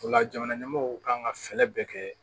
O la jamana ɲɛmɔɔw kan ka fɛɛrɛ bɛɛ kɛ